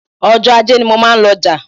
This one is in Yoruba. Ọjọ́ Ajé ni mo máa ń lọ ọjà